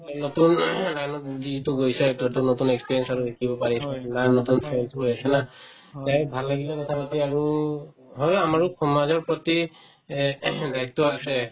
নতুন line ত যিহেতু গৈছায়ে to এইটো নতুন experience আৰু শিকিব পাৰিছা কিবা নতুন লৈ আছিলা ভাল লাগিলে কথা পাতি আৰু সমাজৰ প্ৰতি এহ্ দায়িত্ব আছে